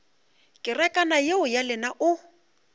kerekana yeo ya lena o